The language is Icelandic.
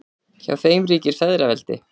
Hjá þeim ríkir feðraveldi.